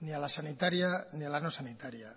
ni a la sanitaria ni a la no sanitaria